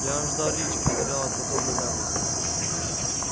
я аж дар речи потеряла от подобной наглости